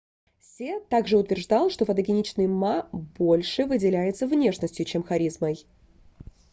се также утверждал что фотогеничный ма больше выделялся внешностью чем харизмой